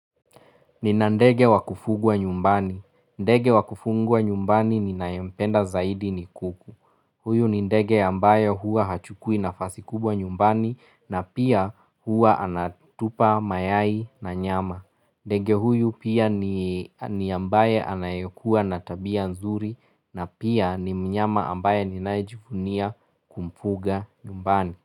Nina ndege wakufugwa nyumbani. Ndege wa kufungwa nyumbani ninayempenda zaidi ni kuku. Huyu ni ndege ambayo hua hachukui nafasi kubwa nyumbani na pia hua anatupa mayai na nyama. Ndege huyu pia ni ambaye anayekuwa na tabia nzuri na pia ni mnyama ambaye ninayejivunia kumfuga nyumbani.